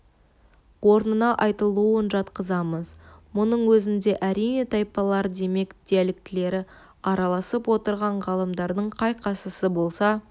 орнына айтылуын жатқызамыз мұның өзінде әрине тайпалар демек диалектілері араласып отырған ғалымдардың қай-қайсысы болса